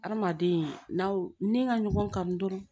Adamaden n'aw ni ŋa ɲɔgɔn kan dɔrɔn